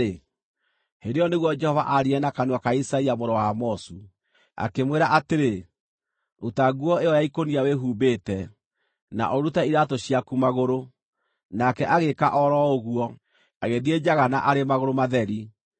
hĩndĩ ĩyo nĩguo Jehova aaririe na kanua ka Isaia mũrũ wa Amozu. Akĩmwĩra atĩrĩ, “Ruta nguo ĩyo ya ikũnia wĩhumbĩte, na ũrute iraatũ ciaku magũrũ.” Nake agĩĩka o ro ũguo, agĩthiĩ njaga na arĩ magũrũ matheri.